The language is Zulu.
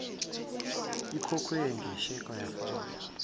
ikhokhwe ngesheke yafakwa